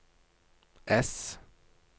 ess